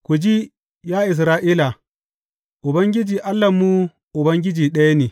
Ku ji, ya Isra’ila, Ubangiji Allahnmu, Ubangiji ɗaya ne.